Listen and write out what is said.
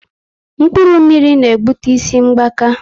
Mkpụrụ mmiri na ebute isi mgbaka